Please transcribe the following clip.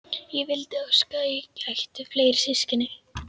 Ég vildi óska að ég ætti fleiri systkini.